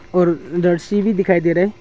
और भी दिखाई दे रहा है।